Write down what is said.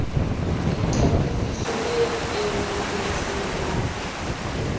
le qapodiso e kenelletseng ya